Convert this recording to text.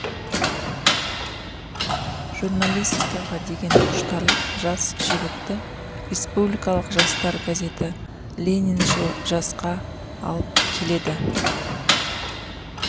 журналистикаға деген құштарлық жас жігітті республикалық жастар газеті лениншіл жасқа алып келеді